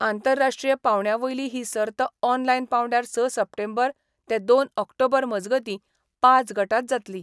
आंतरराष्ट्रीय पांवड्या वयली ही सर्त ऑनलायन पांवड्यार स सप्टेंबर ते दोन ऑक्टोबर मजगतीं पांच गटांत जातली.